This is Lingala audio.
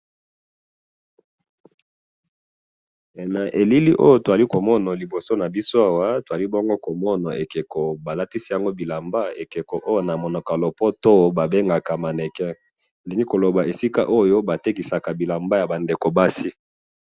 Na moni ekeko balatisi elamba po na kolakisa batu baya kosomba.